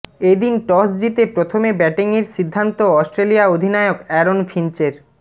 এদিন টস জিতে প্রথমে ব্যাটিংয়ের সিদ্ধান্ত অস্ট্রেলিয়া অধিনায়ক অ্যারন ফিঞ্চের